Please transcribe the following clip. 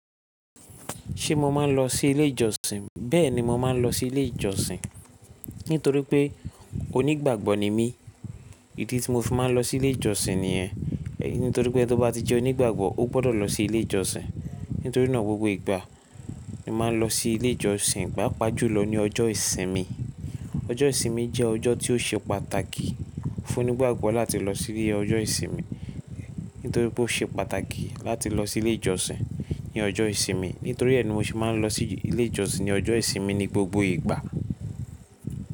Ṣé mo máa ń lọ sí ilé ìjọsìn? Bẹ́ẹ̀ni, mo máa ń lọ sí ilé ìjọsìn nítorí pé onígbàgbọ́ ni mí. Idi tí mo fi máa ń lọ sí ilé ìjọsìn niyen. Nítorí pé tó bá ti jẹ́ onígbàgbọ́, o gbọ́dọ̀ lọ sí ilé ìjọsìn. Nítorí náà gbogbo ìgbà mo máa ń lọ sí ilé ìjọsìn, gbà paapa jùlọ ní ọjọ́ ìsinmi. Ọjọ́ ìsinmi jẹ́ ọjọ́ tí ó ṣe pàtàkì fún onígbàgbọ́ láti lọ sí ilé ọjọ́ ìsinmi, nítorí pé ó ṣe pàtàkì láti lọ sí ilé ìjọsìn ní ọjọ́ ìsinmi. Nítorí ẹ́ ni mo ṣe máa ń lọ sí ilé ìjọsìn ní ọjọ́ ìsinmi ní gbogbo ìgbà.